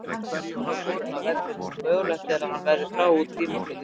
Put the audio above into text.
Silva var borinn af vellinum og mögulegt er að hann verði frá út tímabilið.